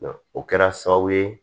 O kɛra sababu ye